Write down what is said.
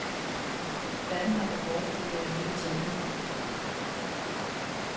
Verden har behov for uafhængig tænkning.